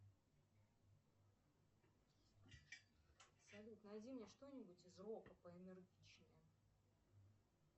салют найди мне что нибудь из рока поэнергичнее